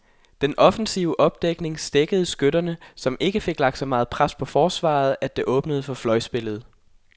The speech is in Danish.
Den offensive opdækning stækkede skytterne, som ikke fik lagt så meget pres på forsvaret, at det åbnede for fløjspillet.